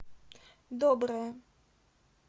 доброе